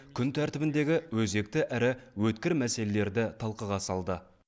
күн тәртібіндегі өзекті әрі өткір мәселелерді талқыға салды